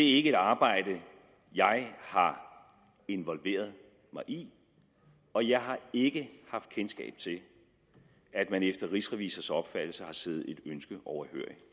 ikke et arbejde jeg har involveret mig i og jeg har ikke haft kendskab til at man efter rigsrevisors opfattelse har siddet et ønske overhørig